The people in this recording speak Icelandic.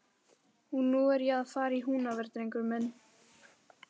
Og nú er ég að fara í Húnaver, drengur minn.